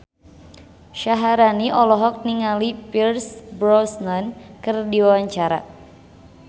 Syaharani olohok ningali Pierce Brosnan keur diwawancara